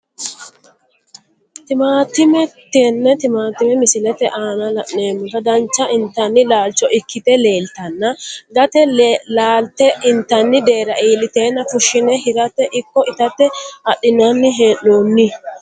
Timaatime tene timaatime misilete aana la`nomoti dancha intani laalcho ikite leltana gate laalte intani deera iiliteena fushine hirate ikko itate adhinani heenoni.